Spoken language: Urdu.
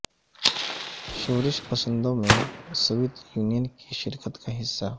شورش پسندوں میں سوویت یونین کی شرکت کا حصہ